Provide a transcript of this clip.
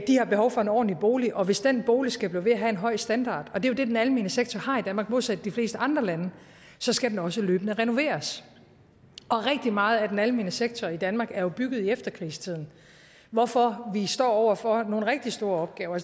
har behov for en ordentlig bolig og hvis den bolig skal blive ved med at have en høj standard og det er jo det den almene sektor har i danmark modsat i de fleste andre lande så skal den også løbende renoveres og rigtig meget af den almene sektor i danmark er bygget i efterkrigstiden hvorfor vi står over for nogle rigtig store opgaver